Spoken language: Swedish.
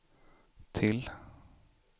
till